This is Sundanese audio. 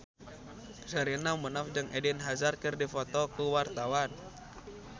Sherina Munaf jeung Eden Hazard keur dipoto ku wartawan